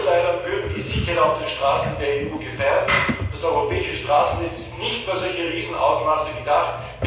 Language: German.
Gigaliner würden die Sicherheit auf den Straßen der EU gefährden, und das europäische Straßennetz ist nicht für solche Riesenausmaße gedacht.